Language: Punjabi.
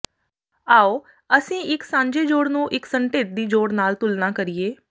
ਆਉ ਅਸੀਂ ਇੱਕ ਸਾਂਝੇ ਜੋੜ ਨੂੰ ਇੱਕ ਸੰਢੇਦੀ ਜੋੜ ਨਾਲ ਤੁਲਨਾ ਕਰੀਏ